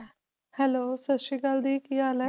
Hello ਸਤਿ ਸ੍ਰੀ ਅਕਾਲ ਦੀ ਕੀ ਹਾਲ ਹੈ?